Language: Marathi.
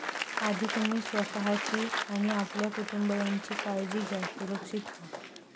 आधी तुम्ही स्वतःची आणि आपल्या कुटुंबीयांची काळजी घ्या, सुरक्षित व्हा.